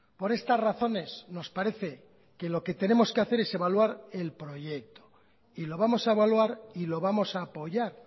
por estas razones nos parece que lo que tenemos que hacer es evaluar el proyecto y lo vamos a evaluar y lo vamos a apoyar